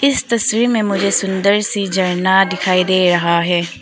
इस तस्वीर में मुझे सुंदर सी झरना दिखाई दे रहा है।